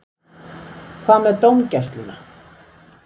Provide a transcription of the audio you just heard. Hvað með dómgæsluna?